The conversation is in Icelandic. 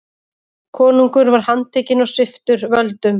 Konungur var handtekinn og sviptur völdum.